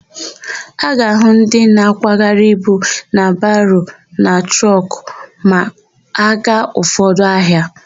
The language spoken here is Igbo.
A ga-ahụ ndị na-akwagharị ibu na baro na trọkụ ma a gaa ụfọdụ ahịa.